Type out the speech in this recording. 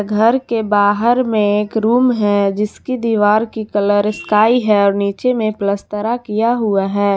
घर के बाहर में एक रूम है जिसकी दीवार की कलर स्काई है और नीचे में पलस्तरा किया हुआ है।